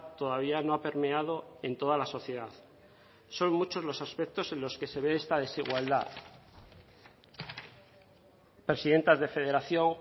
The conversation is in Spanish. todavía no ha permeado en toda la sociedad son muchos los aspectos en los que se ve esta desigualdad presidentas de federación